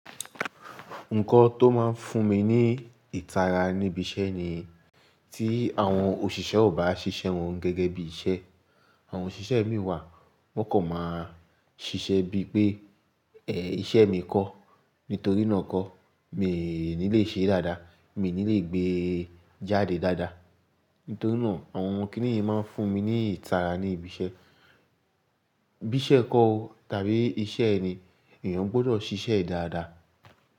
Nǹkan tó máa ń fún mi ní ìtara níbi iṣẹ́ ni tí àwọn òṣìṣẹ́ ò bá ṣiṣẹ́ wọn gẹ́gẹ́ bí iṣẹ́. Àwọn òṣìṣẹ́ mi wà, wọ́n kan máa ṣiṣẹ́ bíi pé, "Ẹ̀, iṣẹ́ mi kọ́." Nítorí náà kọ́, mi o ní lè ṣe é dáadáa, mi o ní lè gbé e jáde dáadáa. Nítorí náà àwọn kíni yìí máa ń fún mi ní ìtara ní ibi iṣẹ́. Bí iṣẹ́ kọ́ tàbí iṣẹ́ ẹni, èèyàn gbọdọ̀ ṣiṣẹ́ dáadáa.